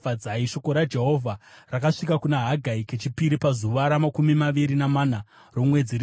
Shoko raJehovha rakasvika kuna Hagai kechipiri pazuva ramakumi maviri namana romwedzi richiti,